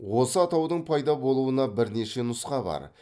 осы атаудың пайда болуына бірнеше нұсқа бар